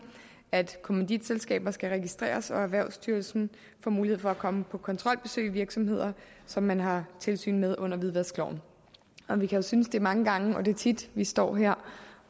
at kommanditselskaber skal registreres og at erhvervsstyrelsen får mulighed for at komme på kontrolbesøg i virksomheder som man har tilsyn med under hvidvaskloven vi kan synes at det er mange gange og at det er tit vi står her